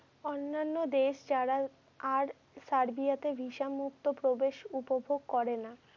অন্যান্য দেশ যারা আর সার্বিয়াতে visa মুক্ত প্রবেশ উপভোগ করে না।